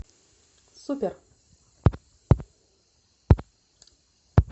супер